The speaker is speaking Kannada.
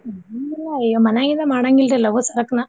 ಹ್ಮ್ ಈಗ್ ಮನ್ಯಾಗಿಂದ ಮಾಡಾಂಗಿಲ್ರೀ ಲಗು ಸರಕ್ನ.